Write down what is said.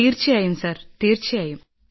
തീർച്ചയായും സർ തീർച്ചയായും